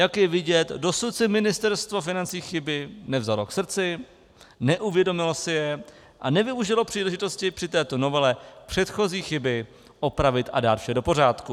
Jak je vidět, dosud si Ministerstvo financí chyby nevzalo k srdci, neuvědomilo si je a nevyužilo příležitosti při této novele předchozí chyby opravit a dát vše do pořádku.